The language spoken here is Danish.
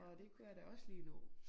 Og det kunne jeg da også lige nå